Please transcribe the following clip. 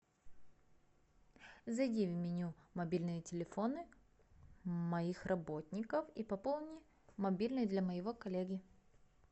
зайди в меню мобильные телефоны моих работников и пополни мобильный для моего коллеги